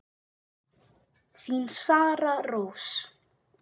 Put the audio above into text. Þín, Sara Rós.